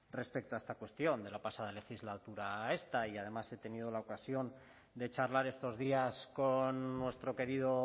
respecto a esta cuestión de la pasada legislatura a esta y además he tenido la ocasión de charlar estos días con nuestro querido